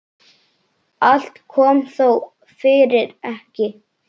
Allt kom þó fyrir ekki.